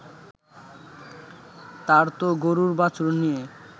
তার তো গরুর বাছুর নিয়ে